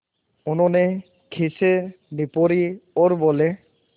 उन्होंने खीसें निपोरीं और बोले